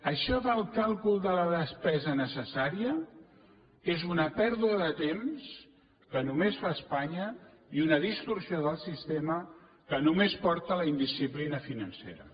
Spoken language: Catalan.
això del càlcul de la despesa necessària és una pèrdua de temps que només fa espanya i una distorsió del sistema que només porta a la indisciplina financera